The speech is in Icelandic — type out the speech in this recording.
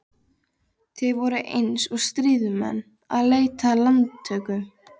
Þeir voru eins og stríðsmenn að leita landtöku.